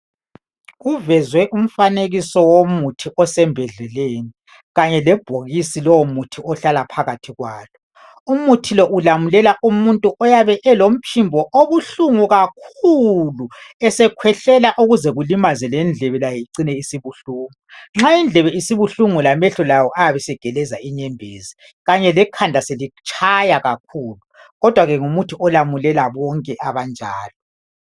kuvezwe umfanekiso womuthi osembodleleni kanye lebhokisi lowo muthi ohlala phakathi kwalo umuthi lo ulamulela umuntu oyabe elomphimbo obuhlungu kakhulu esekhwehlela okuze kulimaze lendlebe layo icine isibuhlungu nxa indlebe isibuhlungu lamehlo lawo ayabe esegeleza inyembezi kanye lekhanda selitshaya kakhulu kodwa ke ngumuthi olamulela bonke abanjalo